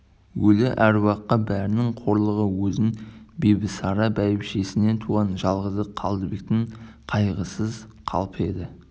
өлі әруаққа бәрінен қорлығы оның бибісара бәйбішеден туған жалғызы қалдыбектің қайғысыз қалпы еді